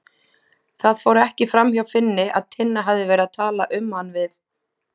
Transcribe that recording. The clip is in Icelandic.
Það fór ekki framhjá Finni að Tinna hafði verið að tala um hann við